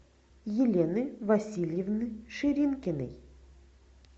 елены васильевны ширинкиной